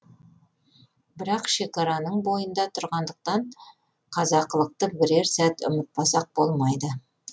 бірақ шекараның бойында тұрғандықтан қазақылықты бірер сәт ұмытпасақ болмайды